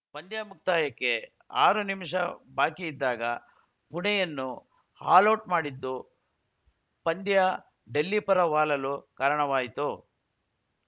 ಪಂದ್ಯ ಮುಕ್ತಾಯಕ್ಕೆ ಆರು ನಿಮಿಷ ಬಾಕಿ ಇದ್ದಾಗ ಪುಣೆಯನ್ನು ಆಲೌಟ್‌ ಮಾಡಿದ್ದು ಪಂದ್ಯ ಡೆಲ್ಲಿ ಪರ ವಾಲಲು ಕಾರಣವಾಯಿತು